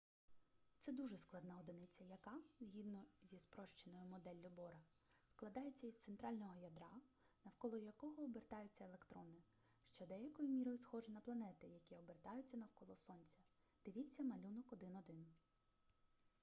це дуже складна одиниця яка згідно зі спрощеною моделлю бора складається із центрального ядра навколо якого обертаються електрони що деякою мірою схоже на планети які обертаються навколо сонця дивіться малюнок 1.1